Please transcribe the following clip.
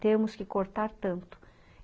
''Temos que cortar tanto.''